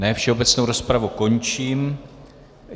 Ne, všeobecnou rozpravu končím.